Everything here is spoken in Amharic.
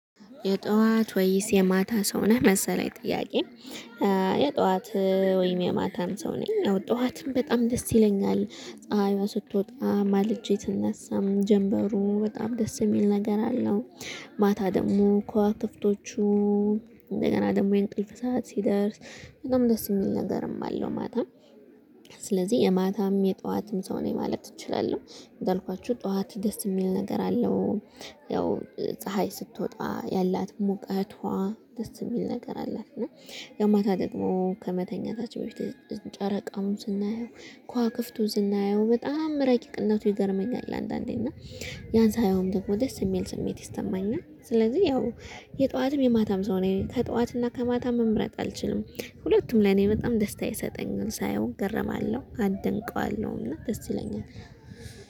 የጧት ወይስ የማታ ሰው ነህ መሰለኝ ጥያቄ? የጧት ወይም የማታም ሰው ነኝ አዎ ጠዋትም በጣም ደስ ይለኛል ፀሀይዋ ስትወጣ ማልጄ ትነሳም ጀምበሩ በጣም ደስ የሚል ነገር አለው። ማታ ደግሞ ክዋክብቶቹ እንደገና ደግሞ የእንቅልፍ ሰዓት ሲደርስ በጣም ደስ የሚል ነገርም አለው ማታ። ስለዚህ የማታም የጠዋትም ሰው ነኝ ማለት እችላለሁ እንዳልኳችሁ ጠዋት ደስ የሚል ነገር አለው። ያው ፀሀይ ስትወጣ ያላት ሙቀቷ ደስ የሚል ነገር አላት እና የማታ ደግሞ ከመተኛታችሁ በፊት ጨረቃውን ስናየው ከዋክብቱን ስናየው በጣም እረቂቅነቱ ይገርመኛል። አንዳንዴ እና ያን ሳየውም ደግሞ ደስ የሚል ስሜት ይስማኛል። ስለዚህ ያው የጧትም የማታም ሰው ነኝ ከጧትና ከማታ መምረጥ አልችልም። ሁለቱም ለኔ በጣም ደስታ ይሰጠኛል ሳየው እገርማለሁ አደንቀዋለሁና ደስ ይለኛል